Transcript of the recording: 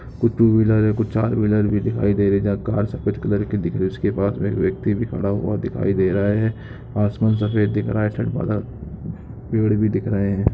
कुछ two wheeler हैं कुछ चार व्हीलर भी दिखाई दे रहे हैं जहाँ कार सफ़ेद कलर की दिख रही हैं उसके पास मैं एक व्यक्ति भी खड़ा हुआ दिखाई दे रहा हैं आसमान सफ़ेद दिख रहा हैं पेड़ भी दिख रहे हैं।